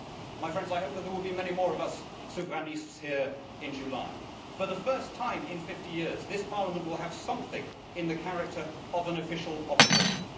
My friends, I hope that there will be many more of us souverainistes here in July. For the first time in 50 years, this Parliament will have something in the nature of an official opposition.